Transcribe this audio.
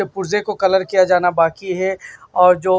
पुर्जे को कलर किया जाना बाकी है और जो --